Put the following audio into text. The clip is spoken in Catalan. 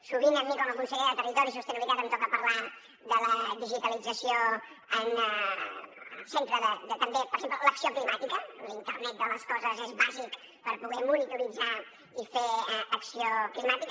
sovint a mi com a conseller de territori i sostenibilitat em toca parlar de la digitalització en el centre de també per exemple l’acció climàtica l’internet de les coses és bàsic per poder monitoritzar i fer acció climàtica